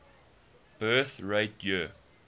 birth rate year